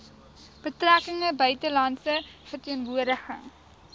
betrekkinge buitelandse verteenwoordiging